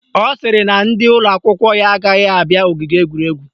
Ọ sịrị na ndị ụlọakwụkwọ ya agaghị abịa ogige egwuregwu